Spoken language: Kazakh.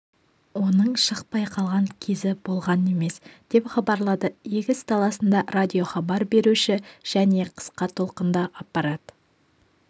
оның шықпай қалған кезі болған емес деп хабарлады егіс даласында радиохабар беруші және қысқа толқынды аппарат